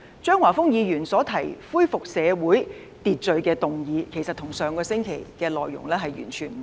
張華峰議員所提出恢復社會秩序的議案，其實與上周提出議案內容完全不同。